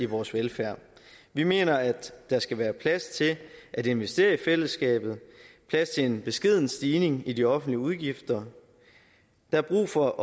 vores velfærd vi mener at der skal være plads til at investere i fællesskabet og plads til en beskeden stigning i de offentlige udgifter der er brug for